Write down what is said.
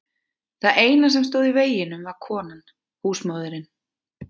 Það eina sem stóð í veginum var konan, húsmóðirin.